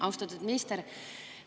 Austatud minister!